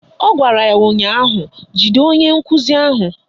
Ọ gwara ya ụnyaahụ "Jide onye nkụzi ahụ"!